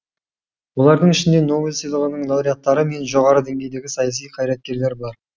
олардың ішінде нобель сыйлығының лауреаттары мен жоғары деңгейдегі саяси қайраткерлер бар